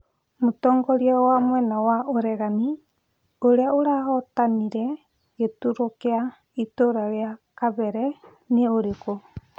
Mũtongoria wa mwena wa ũregani ũrĩa ũrahotanire gĩturwa kĩa itura rĩa Kabera nĩ ũrĩkũ?